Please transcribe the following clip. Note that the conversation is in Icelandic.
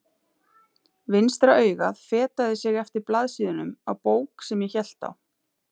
Vinstra augað fetaði sig eftir blaðsíðunum á bók sem ég hélt á.